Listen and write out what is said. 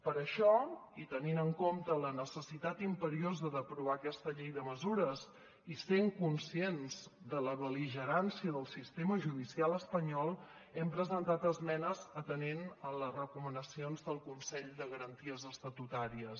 per això i tenint en compte la necessitat imperiosa d’aprovar aquesta llei de mesures i sent conscients de la bel·ligerància del sistema judicial espanyol hem presentat esmenes atenent les recomanacions del consell de garanties estatutàries